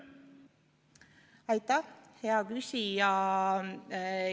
Aitäh, hea küsija!